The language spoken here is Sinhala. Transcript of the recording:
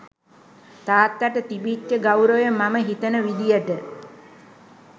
තාත්තට තිබිච්ච ගෞරවය මම හිතන විදයට.